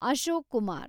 Ashok Kumar